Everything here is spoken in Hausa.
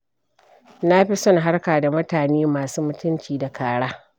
Na fi son harka da mutane masu mutunci da kara.